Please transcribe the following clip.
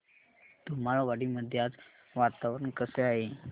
धुमाळवाडी मध्ये आज वातावरण कसे आहे